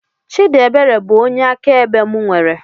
Chidiebere bụ onye akaebe mụ nwere